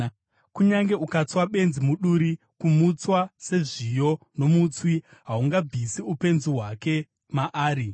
Kunyange ukatswa benzi muduri, kumutswa sezviyo nomutswi, haungabvisi upenzi hwake maari.